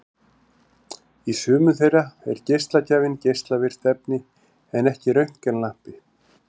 Í sumum þeirra er geislagjafinn geislavirkt efni en ekki röntgenlampi.